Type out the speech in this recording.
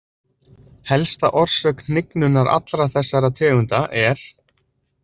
Helsta orsök hnignunar allra þessara tegunda er.